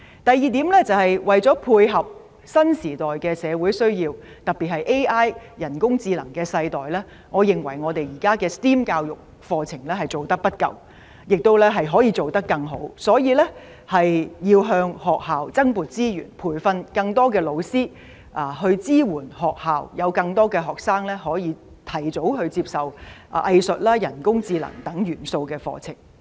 第二點，為配合新時代的社會需要，特別是 AI 的世代，我認為我們現在的 STEM 教育課程做得不夠，可以做得更好，所以建議向學校增撥資源，以培訓老師及支援學校，讓更多學生可以提早接受包含藝術、人工智能等元素的課程。